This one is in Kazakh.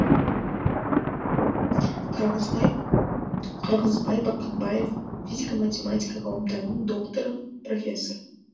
қырғызбай бақытбаев физика математика ғылымдарының докторы профессор